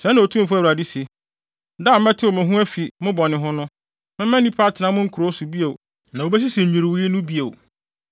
“ ‘Sɛɛ na Otumfo Awurade se: Da a mɛtew mo ho afi mo bɔne ho no, mɛma nnipa atena mo nkurow so bio na wobesisi nnwiriwii no bio.